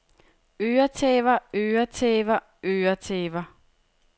øretæver øretæver øretæver